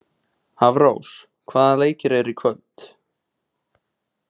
Hafrós, hvaða leikir eru í kvöld?